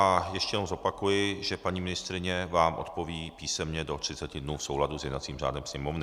A ještě jednou zopakuji, že paní ministryně vám odpoví písemně do 30 dnů v souladu s jednacím řádem Sněmovny.